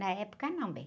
Na época não, bem.